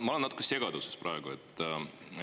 Ma olen natuke segaduses praegu.